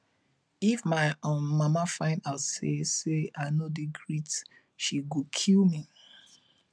if my um mama find out say say i no dey greet she go kill me